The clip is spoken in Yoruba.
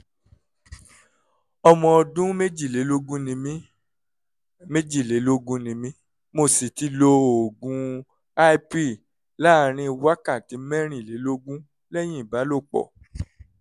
ọmọ ọdún méjìlélógún ni mí méjìlélógún ni mí mo sì ti lo oògùn i-pill láàárín wákàtí mẹ́rìnlélógún lẹ́yìn ìbálòpọ̀